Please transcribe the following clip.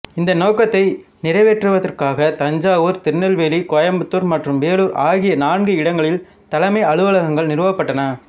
இந்த நோக்கத்தை நிறைவேற்றுவதற்காக தஞ்சாவூர் திருநெல்வேலி கோயம்புத்தூர் மற்றும் வேலூர் ஆகிய நான்கு இடங்களில் தலைமை அலுவலகங்கள் நிறுவப்பட்டன